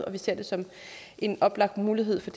og vi ser det som en oplagt mulighed for